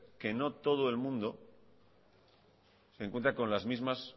que no todo el mundo se encuentra con las mismas